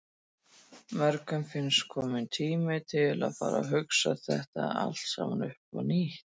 Mörgum finnst kominn tími til að fara að hugsa þetta allt saman upp á nýtt.